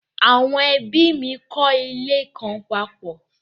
Àwọn ẹ́bí mi n kọ́ ilé kan papọ̀